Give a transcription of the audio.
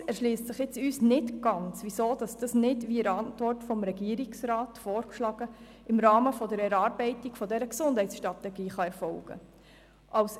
Allerdings erschliesst es sich uns nicht ganz, weshalb dies nicht, wie in der Antwort des Regierungsrats vorgeschlagen, im Rahmen der Erarbeitung dieser Gesundheitsstrategie erfolgen kann.